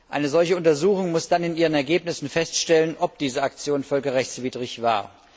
Eine solche Untersuchung muss dann in ihren Ergebnissen feststellen, ob diese Aktion völkerrechtswidrig war.